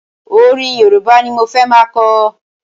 Ọrin Yorùbá ni mo fẹ́ ma kọ.